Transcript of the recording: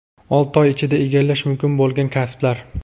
Olti oy ichida egallash mumkin bo‘lgan kasblar.